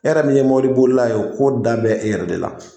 E yɛrɛ min ye mɔbili bolila ye ,ka ko da b'e yɛrɛ de la.